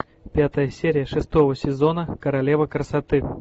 пятая серия шестого сезона королева красоты